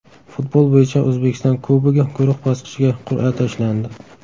Futbol bo‘yicha O‘zbekiston Kubogi guruh bosqichiga qur’a tashlandi.